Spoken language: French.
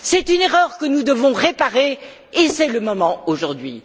C'est une erreur que nous devons réparer, et c'est le moment aujourd'hui.